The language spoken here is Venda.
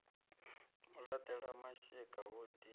u laṱela mashika hu ḓi